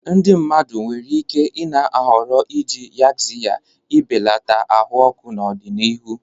Ndị mmadụ nwere ike i-na ahọrọ iji Yaxiya ị belata ahụ ọkụ n'ọdịnihu.